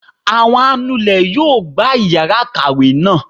Awọn anulè yóò gbá iyara ikáwe naa